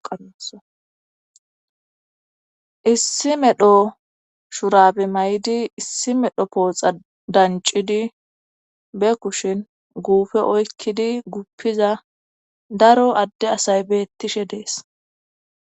Issi medho shurabe mayidi issi medho pooxa dancidi ba kushin guupe oykkidi guppida daro adde asay beettishe dees.